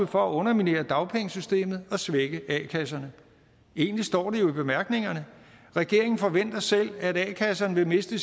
for at underminere dagpengesystemet og svække a kasserne egentlig står det jo i bemærkningerne regeringen forventer selv at a kasserne vil miste